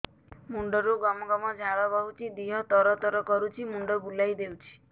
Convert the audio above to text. ମୁଣ୍ଡରୁ ଗମ ଗମ ଝାଳ ବହୁଛି ଦିହ ତର ତର କରୁଛି ମୁଣ୍ଡ ବୁଲାଇ ଦେଉଛି